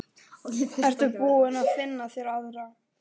Ertu búinn að finna þér aðra?